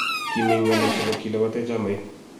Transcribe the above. KImi ngalek chebo kilabate chamait